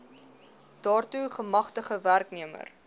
daartoe gemagtigde werknemer